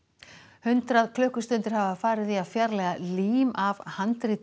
hundrað klukkustundir hafa farið í að fjarlægja lím af handriti